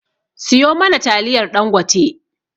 siyo mana taliyar ɗangote